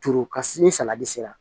Turu ka se ni salati sera